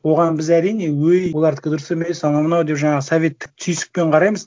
оған біз әрине өй олардікі дұрыс емес анау мынау деп жаңағы советтік түйсікпен қараймыз